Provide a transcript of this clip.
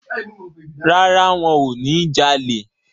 Rárá, wọ́n ò ní jalè.